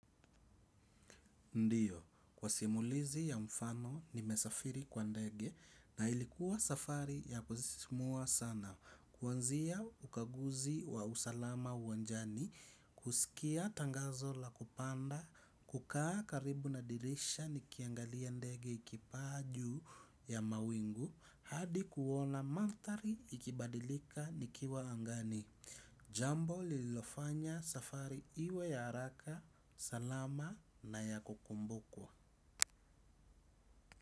Ndiyo, kwa simulizi ya mfano nimesafiri kwa ndege na ilikuwa safari ya kusisimua sana. Kuanzia ukaguzi wa usalama uwanjani, kusikia tangazo la kupanda, kukaa karibu na dirisha nikiangalia ndege ikipaa juu ya mawingu, hadi kuona mandhari ikibadilika nikiwa angani. Jambo lililofanya safari iwe ya haraka salama na ya kukumbukwa.